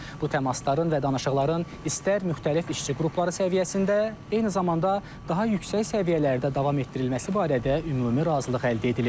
Bu təmasların və danışıqların istər müxtəlif işçi qrupları səviyyəsində, eyni zamanda daha yüksək səviyyələrdə davam etdirilməsi barədə ümumi razılıq əldə edilib.